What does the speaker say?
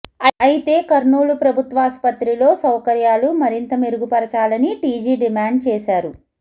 అయితే కర్నూలు ప్రభుత్వాసుపత్రిలో సౌకర్యాలు మరింత మెరుగు పరచాలని టీజీ డిమాండ్ చేశారు